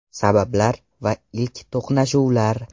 Sabablar va ilk to‘qnashuvlar.